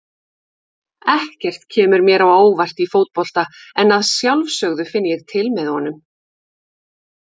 Ekkert kemur mér á óvart í fótbolta en að sjálfsögðu finn ég til með honum.